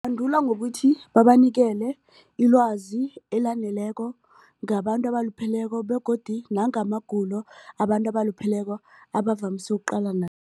ngokuthi babanikele ilwazi elaneleko ngabantu abalupheleko begodu nangamagulo abantu abalupheleko abavamise ukuqalana